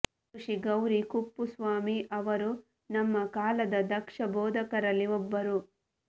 ವಿದುಷಿ ಗೌರಿ ಕುಪ್ಪುಸ್ವಾಮಿ ಅವರು ನಮ್ಮ ಕಾಲದ ದಕ್ಷ ಬೋಧಕರಲ್ಲಿ ಒಬ್ಬರು